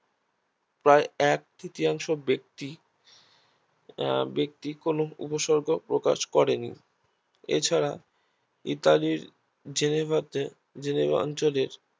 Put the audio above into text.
প্রায় এক তৃতীয়াংশ ব্যাক্তি ব্যাক্তি কোনো উপসর্গ প্রকাশ করেনি এছাড়া ইতালির জেলেভাতে জেলেভা অঞ্চলের